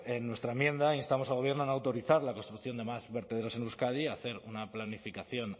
en nuestra enmienda instamos al gobierno a no autorizar la construcción de más vertederos en euskadi a hacer una planificación